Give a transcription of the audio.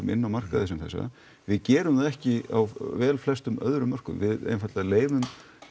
inná markaði sem þessa við gerum það ekki á vel flestum öðrum mörkuðum við einfaldlega leyfum